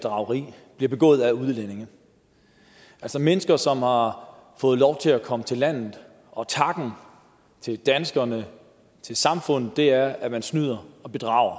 bedrageri bliver begået af udlændinge altså mennesker som har fået lov til at komme til landet og takken til danskerne og til samfundet er at man snyder og bedrager